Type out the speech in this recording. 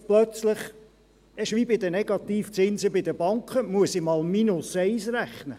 Und jetzt plötzlich muss ich, wie bei den Negativzinsen der Banken, mal minus eins rechnen.